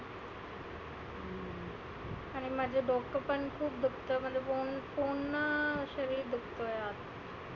आणि माझ डोकं पण खुप दुखत म्हणजे पुर्ण शरिर दुखतं यार.